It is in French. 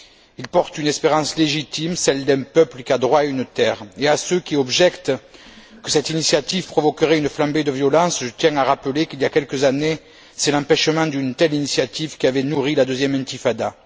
Il porte une espérance légitime, celle d'un peuple qui a droit à une terre, et à ceux qui objectent que cette initiative provoquerait une flambée de violence, je tiens à rappeler qu'il y a quelques années, c'est l'empêchement d'une telle initiative qui avait nourri la deuxième intifada.